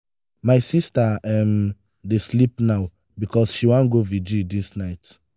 my sista um dey sleep now because she wan go virgil dis night.